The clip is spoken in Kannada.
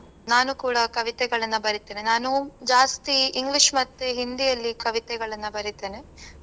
ನಾನೂ ಕೂಡಾ ಕವಿತೆಗಳನ್ನ ಬರಿತೇನೆ. ನಾನು ಜಾಸ್ತಿ English ಮತ್ತೆ ಹಿಂದಿಯಲ್ಲಿ ಕವಿತೆಗಳನ್ನ ಬರಿತೇನೆ.